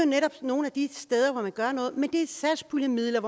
netop nogle af de steder hvor man gør noget men det er satspuljemidler